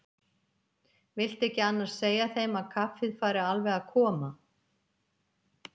Viltu ekki annars segja þeim að kaffið fari alveg að koma.